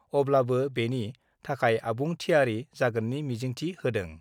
अब्लाबो बेनि थाखाय आबुं थियारि जागोननि मिजिंथि होदों।